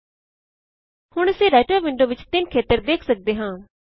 ਹੁਣ ਅਸੀਂ writer window ਵਿੱਚ ਤਿਂਨ ਖੇਤਰ ਵੇਖ ਸਕਦੇ ਹਾਂ